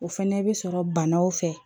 O fɛnɛ bi sɔrɔ banaw fɛ